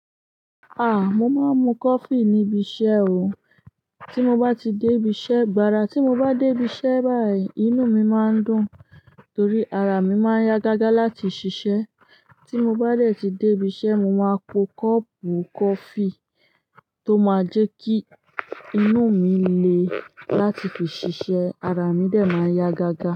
Mo máa ń mu coffee níbi iṣẹ́ o. Tí mo bá ti dé ibi iṣẹ́, gbara tí mo bá dé ibi iṣẹ́ báyìí, inú mi máa ń dùn torí ara mi máa yá gágá láti ṣiṣẹ́. Tí mo bá dẹ̀ ti dé ibi iṣẹ́, mo máa po kọ́ọ̀pù coffee tó máa jẹ́ kí inú mi le láti fi ṣiṣẹ́, ara mi dẹ̀ máa yá gágá.